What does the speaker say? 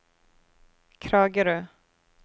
Kragerø